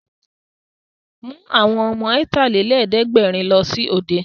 Mú àwọn ọmọ Ọ̀tàlélẹ̀ẹ́dẹ́gbẹ̀rin lọ sí òde!